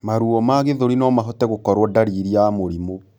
Maruo ma gĩthũri nomahote gũkorwo dariri ya Mũrimũ